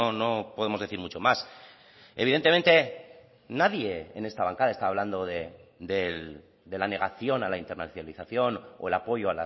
no podemos decir mucho más evidentemente nadie en esta bancada está hablando de la negación a la internacionalización o el apoyo